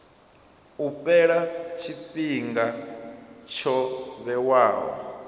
u fhela tshifhinga tsho vhewaho